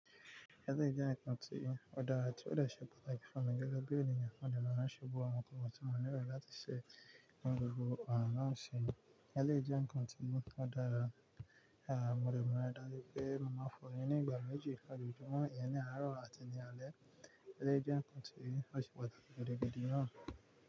Eléyìí jẹ́ ǹkàn tí ọ́ dára tí ó dẹ̀ ṣe pàtàkì fún mi gẹ́gẹ́ bí ènìyàn. Mo dẹ̀ máa ń ṣe gbogbo àwọn ǹkan tí mo nílò láti ṣẹ̀ ní gbogbo àrin ọ̀sẹ̀. Ẹlẹ́jẹ̀ ń kàn tí mú ọ́ dára. Mo dẹ̀ máa darí pé mo máa fọ́ ẹyin ní ìgbà méjì lójojúmọ́, ìyẹn ní àárọ̀ àti ní alẹ́. Eléyìí jẹ́ ǹkàn tí ó ṣe pàtàkì gidi gidi náà.